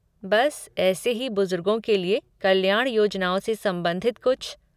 बस ऐसे ही बुजुर्गों के लिए कल्याण योजनाओं से संबंधित कुछ।